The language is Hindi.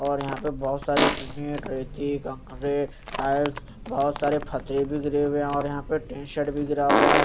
और यहां पे बहोत सारी सीमेंट रेती कांकरे टायर्स बहोत सारे फत्थरे भी गिरे हुए और यहां पे टी शर्ट भी गिरा हुआ है।